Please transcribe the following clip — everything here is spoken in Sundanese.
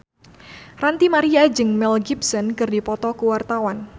Ranty Maria jeung Mel Gibson keur dipoto ku wartawan